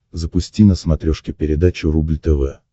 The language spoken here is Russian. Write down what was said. запусти на смотрешке передачу рубль тв